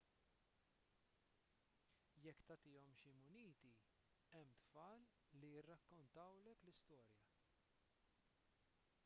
jekk tagħtihom xi muniti hemm tfal li jirrakkontawlek l-istorja